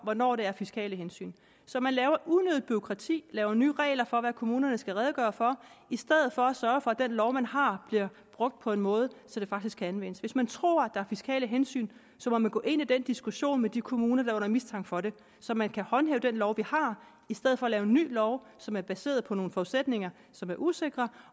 hvornår det er af fiskale hensyn så man laver unødigt bureaukrati laver nye regler for hvad kommunerne skal redegøre for i stedet for at sørge for at den lov man har bliver brugt på en måde så den faktisk kan anvendes hvis man tror der er fiskale hensyn må man gå ind i den diskussion med de kommuner der er under mistanke for det så man kan håndhæve den lov vi har i stedet for at lave en ny lov som er baseret på nogle forudsætninger som er usikre